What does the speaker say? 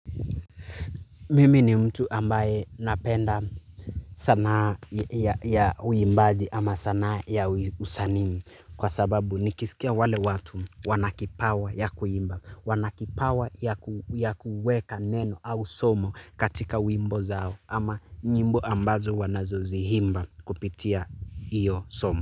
Mimi ni mtu ambaye napenda sanaa ya uimbaji ama sanaa ya usanii kwa sababu nikisikia wale watu wanakipawa ya kuimba. Wanakipawa ya kuweka neno au somo katika uimbo zao ama nyimbo ambazo wanazo zihimba kupitia iyo somo.